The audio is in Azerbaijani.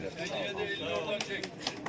Keç sən Allah, əlinlə ordan çək.